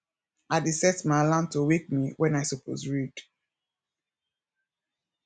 i dey set my alarm to wake me wen i suppose read